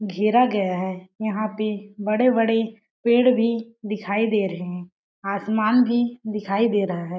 घेरा गया है यहाँ पे बड़े-बड़े पेड़ भी दिखाई दे रहे है आसमान भी दिखाई दे रहा है।